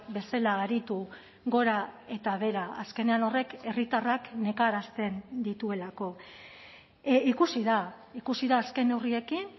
bezala aritu gora eta behera azkenean horrek herritarrak nekarazten dituelako ikusi da ikusi da azken neurriekin